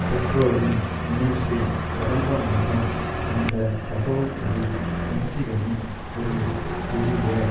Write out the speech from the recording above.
டெட்ரோயின் நியூஸில் கடந்த மாதம் வந்த தகவல்படி மிக்சிகனின் ஒரு பெரிய